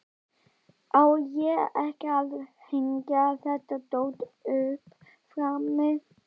Á ég ekki að hengja þetta dót upp frammi?